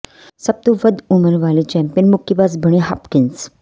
ਸਭ ਤੋਂ ਵੱਧ ਉਮਰ ਵਾਲੇ ਚੈਂਪੀਅਨ ਮੁੱਕੇਬਾਜ਼ ਬਣੇ ਹਾਪਕਿੰਸ